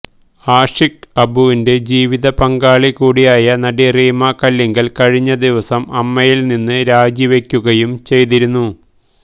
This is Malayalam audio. ആഷിക് അബുവിന്റെ ജീവത പങ്കാളി കൂടിയായ നടി റീമ കല്ലിങ്കല് കഴിഞ്ഞ ദിവസം അമ്മയില് നിന്ന് രാജിവക്കുകയും ചെയ്തിരുന്നു